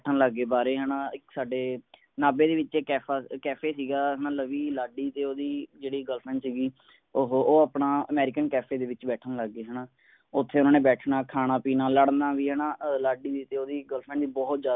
ਬੈਠਣ ਲੱਗ ਗਏ ਬਾਹਰ ਹੀ ਹੈ ਨਾ ਇੱਕ ਸਾਡੇ ਨਾਭੇ ਦੇ ਵਿੱਚ ਇੱਕ ਕੈਫਾ ਕੈਫੇ ਸੀਗਾ ਹੈ ਨਾ ਲਵੀ ਲਾਡੀ ਤੇ ਓਹਦੀ ਜਿਹੜੀ ਕੁੜੀ ਦੋਸਤ ਸੀਗੀ ਓਹੋ ਉਹ ਆਪਣਾ ਅਮੇਰਿਕਨ ਕੈਫੇ ਦੇ ਵਿੱਚ ਬੈਠਣ ਲੱਗ ਗਏ ਹੈ ਨਾ ਉੱਥੇ ਉਨ੍ਹਾਂ ਨੇ ਬੈਠਣਾ ਖਾਣਾ ਪੀਣਾ ਲੜਨਾ ਵੀ ਹੈ ਨਾ ਲਾਡੀ ਦੀ ਤੇ ਓਹਦੀ ਕੁੜੀ ਦੋਸਤ ਦੀ ਬਹੁਤ ਜਿਆਦਾ